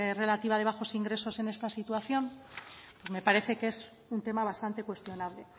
relativa de bajos ingresos en esta situación me parece que es un tema bastante cuestionable